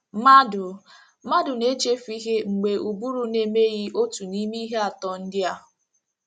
Mmadụ Mmadụ na - echefu ihe mgbe ụbụrụ na - emeghị otu n’ime ihe atọ ndị a.